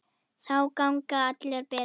Þá gangi allt betur.